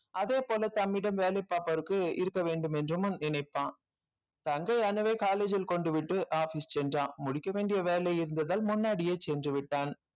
அதே போல தம்மிடம் வேலை பார்ப்பவருக்கு இருக்க வேண்டும் என்றும்முன் நினைப்பான் தங்கை அணுவை college ல் கொண்டுவிட்டு office சென்றான் முடிக்க வேண்டிய வேலை இருந்ததால் முன்னாடியே சென்றுவிட்டான்